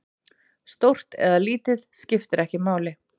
Stórt eða lítið, skiptir ekki máli.